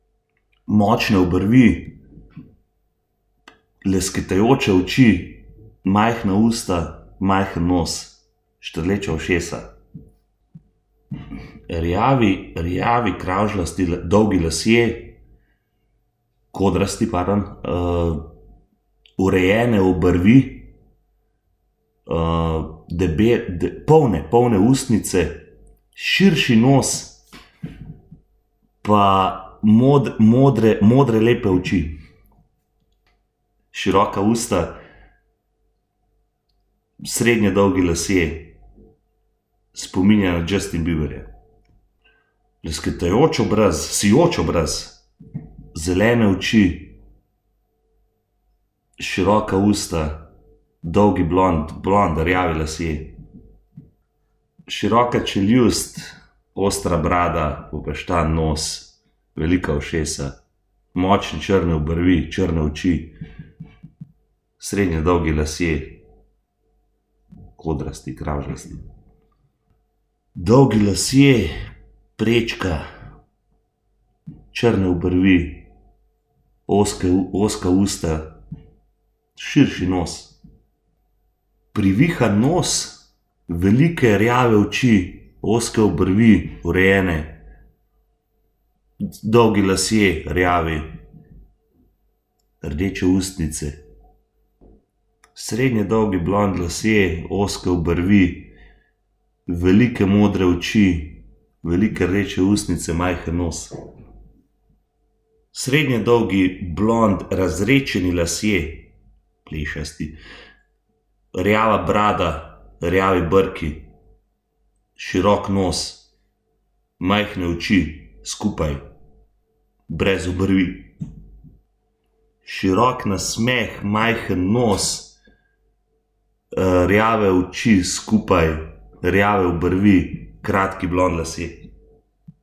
Močne obrvi, lesketajoče oči, majhna usta, majhen nos, štrleča ušesa. Rjavi, rjavi kravžljasti dolgi lasje, kodrasti urejene obrvi, polne, polne ustnice, širši nos pa modre, modre lepe oči. Široka usta, srednje dolgi lasje, spominja na Justin Bieberja. Lesketajoč obraz, sijoč obraz, zelene oči, široka usta, dolgi blond, blond rjavi lasje. Široka čeljust, ostra brada, popeštan nos, velika ušesa, močne črne obrvi, črne oči. Srednje dolgi lasje, kodrasti, kravžljasti. Dolgi lasje, prečka, črne obrvi, ozke ozka usta, širši nos. Privihan nos, velike rjave oči, ozke obrvi, urejene, dolgi lasje, rjavi, rdeče ustnice. Srednje dolgi blond lasje, ozke obrvi, velike modre oči, velike, večje ustnice, majhen nos. Srednje dolgi blond razredčeni lasje, plešasti, rjava brada, rjavi brki, širok nos, majhne oči, skupaj, brez obrvi. Širok nasmeh, majhen nos, rjave oči, skupaj, rjave obrvi, kratki blond lasje.